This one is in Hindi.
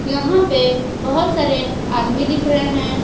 यहां पे बहोत सारे आदमी दिख रहे हैं।